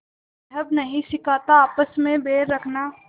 मज़्हब नहीं सिखाता आपस में बैर रखना